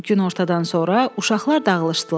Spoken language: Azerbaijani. Günortadan sonra uşaqlar dağılışdılar.